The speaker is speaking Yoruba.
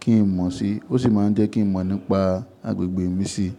kí n mọ̀ sí i, ó sì máa ń jẹ́ kí n mọ̀ nípa agbègbè mi sí i.